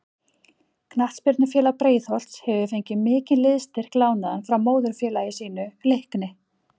Knattspyrnufélag Breiðholts hefur fengið mikinn liðsstyrk lánaðan frá móðurfélagi sínu Leikni.